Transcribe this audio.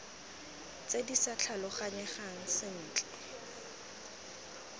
tse di sa tlhaloganyegang sentle